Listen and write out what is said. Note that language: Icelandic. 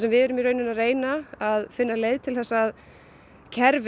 við erum að reyna að finna leiðir til að kerfi